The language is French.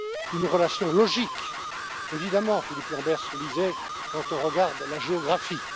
Une relation logique, évidemment, Philippe Lamberts le disait, quand on regarde la géographie.